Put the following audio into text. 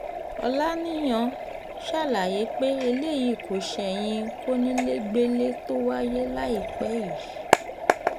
ọ̀làníyàn ṣàlàyé pé eléyìí kò ṣẹ̀yìn kónílégbélé tó wáyé láìpẹ́ yìí